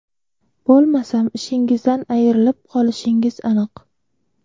Bo‘lmasam ishingizdan ayrilib qolishingiz aniq.